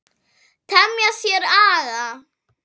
Temja sér aga.